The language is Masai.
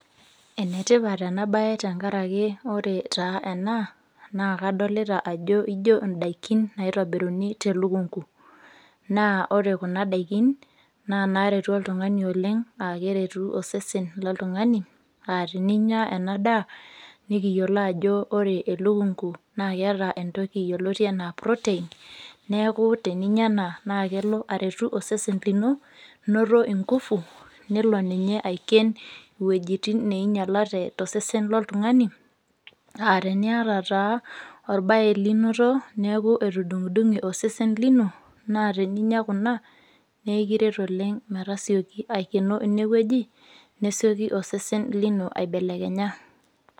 Enetipat ena bae tenkaraki ore taa ena naa kadolita ajo ijo endaikin naitobiruni telukunku. Naa ore kuna daikin, naa inaaretu oltungani oleng' nerutu osesen loltungani aa teninya ena daa, nikiyiolo aajo ore elukunku naa keeta entoki yioloti enaa protein neeku teninya ena naa kelo aretu osesen lino noto ingufu nelo ninye aiken iwojitin neinyialate tosesen loltungani anaa teniyata taa olbae linoto neeku etudunkudunke osesen lino naa teninya kuna naa ekiret oleng' matasioki aikeno ine woji nesiki osesen lino aibelekenya.